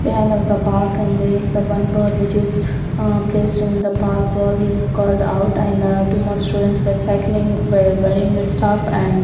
behind of the park and there is the one bird which is a placed in the park wall is called out and too much students were cycling were wearing the stuff and--